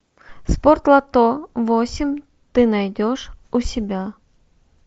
спортлото восемь ты найдешь у себя